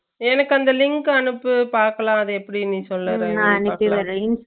எனக்கு அந்த link அனுப்பு பாக்கலாம் அத எப்பிடி